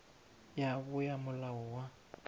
ya bo ya molao wa